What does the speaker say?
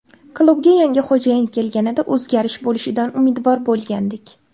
Klubga yangi xo‘jayin kelganida, o‘zgarish bo‘lishidan umidvor bo‘lgandik.